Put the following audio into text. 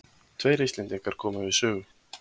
Tveir Íslendingar komu við sögu.